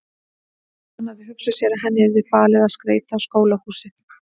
Og hann hafði hugsað sér að henni yrði falið að skreyta skólahúsið.